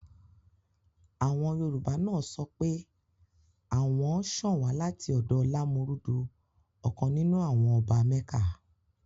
Àwọn Yorùbá náà sọ pé àwọn ṣàn wá láti ọ̀dọ̀ Lámúrúdu ọ̀kan nínú àwọn ọba mẹ́kà